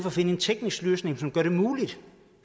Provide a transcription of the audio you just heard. at finde en teknisk løsning som gør det muligt